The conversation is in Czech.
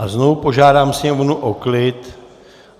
A znovu požádám sněmovnu o klid.